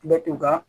Bɛ to ka